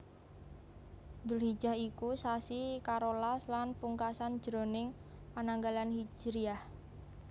Dzulhijjah iku sasi karolas lan pungkasan jroning pananggalan hijriyah